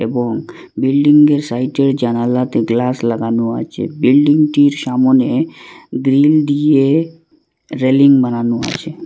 এবং বিল্ডিংঙ্গের -এর সাইটে জানালাতে গ্লাস লাগানো আছে বিল্ডিংটির সামোনে গ্রিল দিয়ে রেলিং বানানো আছে।